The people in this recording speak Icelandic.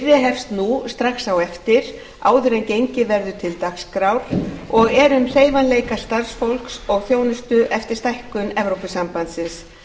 hefst nú strax á eftir áður en gengið verður til dagskrár og er um hreyfanleika starfsfólks og þjónustu eftir stækkun evrópusambandsins